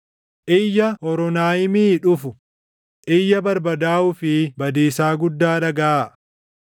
Iyya Hooronaayimii dhufu, iyya barbadaaʼuu fi badiisaa guddaa dhagaʼaa!